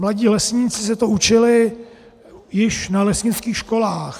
Mladí lesníci se to učili již na lesnických školách.